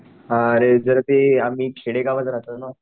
हा अरे जरा ते आम्ही खेडेगावाय राहतो ना